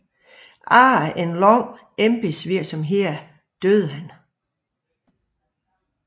Efter en lang embedsvirksomhed døde han